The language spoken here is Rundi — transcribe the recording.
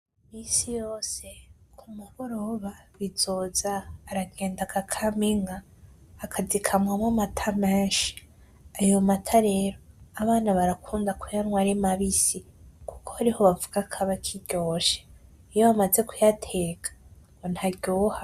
Misi yose ku mugoroba BIZOZA aragenda agakama inka, aka zikamamwo amata menshi, ayo mata rero abana barakunda kuyanwa ari mabisi, kuko ariho bavuga kaba akiryoshe, iyo bamaze kuyateka ntaryoha.